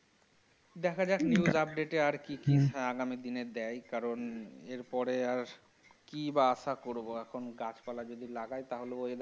দেখা যাক news update এ আর কি কি আগামী দিনে দেয় কারণ এর পরে আর কি বা আশা করবো এখন গাছ পালা যদি লাগায় তাহলে ওই।